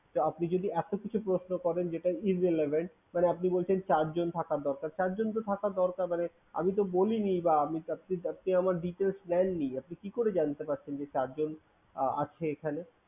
তো আপনি যদি এত কিছু প্রশ্ন করেন যেটা irrelevant মানে আপনি বলছেন চারজন থাকার দরকার। চারজন তো থাকা দরকার মানে আমিতো বলিনি বা আমি চাচ্ছি চাচ্ছি আমার details নেননি। আপনি কি করে জানতে পারছেন যে চারজন আহ আছে এখানে?